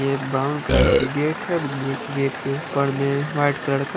ये brown colour की gate है गेट के ऊपर में व्हाइट कलर का--